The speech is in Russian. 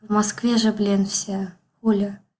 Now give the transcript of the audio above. в москве же блин все оля